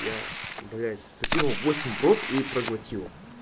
я блять с таким восемь в рот и проглотил